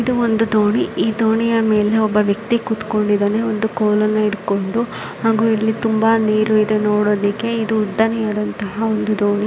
ಇದು ಒಂದು ದೋಣಿ ಈ ದೋಣಿಯ ಮೇಲೆ ಒಬ್ಬ ವ್ಯಕ್ತಿ ಕುತ್ಕೊಂಡಿದ್ದಾನೆ ಒಂದು ಕೋಲನ್ನು ಇಟ್ಕೊಂಡು ಹಾಗೂ ಇಲ್ಲಿ ತುಂಬಾ ನೀರಿದೆ. ನೋಡಲಿಕ್ಕೆ ಇದು ಉದ್ದನೆಯ ದಂತಹ ಒಂದು ದೋಣಿ.